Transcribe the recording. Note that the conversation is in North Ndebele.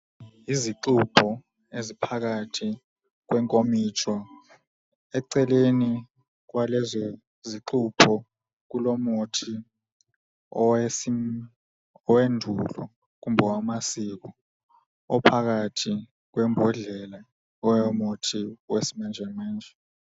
Yizigxubho eziphakathi kwenkomitsho. Eceleni kwalezo zigxubho kulomuthi owendulo kumbe owamasiko ophakathi kwembodlela eyomuthi wesimanjemanje.